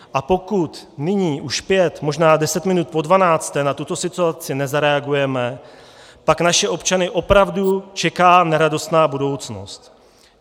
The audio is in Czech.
A pokud nyní už pět, možná deset minut po dvanácté na tuto situaci nezareagujeme, pak naše občany opravdu čeká neradostná budoucnost.